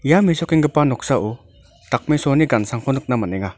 ia mesokenggipa noksao dakmesoani gan·sangko nikna man·enga.